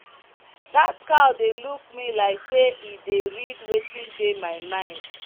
that cow dey look me like say e dey read wetin dey my mind.